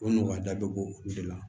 O nɔgɔya da bɛɛ bo o de la